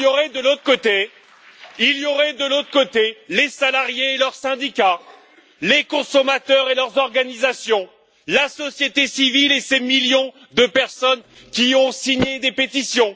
De l'autre côté, il y aurait les salariés et leurs syndicats, les consommateurs et leurs organisations, la société civile et ses millions de personnes qui ont signé des pétitions.